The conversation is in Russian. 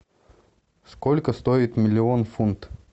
сколько стоит миллион фунт